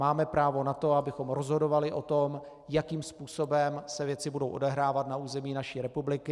Máme právo na to, abychom rozhodovali o tom, jakým způsobem se věci budou odehrávat na území naší republiky.